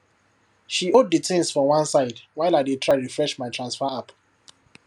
she hold the things for one side while i dey try refresh my transfer app